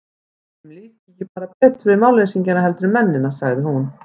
Ætli mér líki bara ekki betur við málleysingjana heldur en mennina, sagði hún.